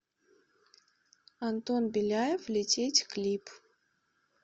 антон беляев лететь клип